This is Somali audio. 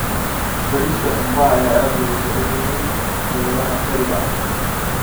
Bariiska qumbaha ayaa aad looga jecel yahay xeebaha Bariga Afrika.